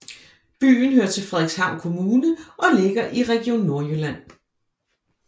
Byen hører til Frederikshavn Kommune og ligger i Region Nordjylland